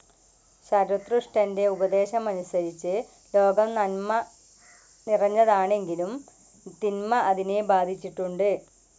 ശരതുഷ്ട്രൻ്റെ ഉപദേശമനുസരിച്ച് ലോകം നൻമ നന്മനിറഞ്ഞെതെങ്കിലും തിന്മ അതിനെ ബാധിച്ചിട്ടുണ്ട്.